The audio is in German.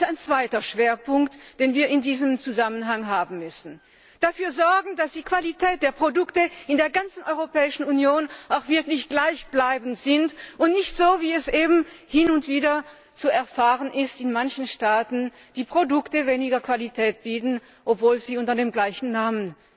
Das ist ein zweiter Schwerpunkt, den wir in diesem Zusammenhang setzen müssen dafür zu sorgen, dass die Qualität der Produkte in der ganzen Europäischen Union auch wirklich gleichbleibend ist und dass nicht wie es eben hin und wieder zu erfahren ist in manchen Staaten die Produkte weniger Qualität bieten, obwohl sie unter dem gleichen Namen